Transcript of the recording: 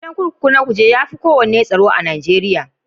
Gidan kurkuku na Kuje ya fi kowanne tsaro.a Najeriya.